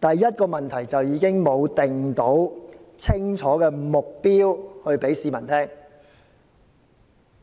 第一個問題是沒有訂立清晰目標，並讓市民知道。